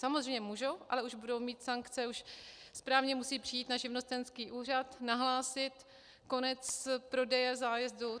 Samozřejmě můžou, ale už budou mít sankce, už správně musí přijít na živnostenský úřad, nahlásil konec prodeje zájezdů.